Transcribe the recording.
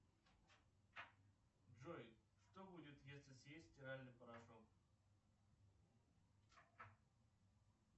джой что будет если съесть стиральный порошок